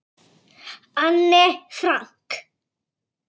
Anne Frank.